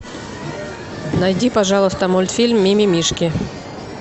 найди пожалуйста мультфильм ми ми мишки